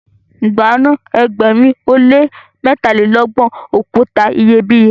gba na ẹgbẹrin o le mẹtalelọgbọn okuta iyebiye!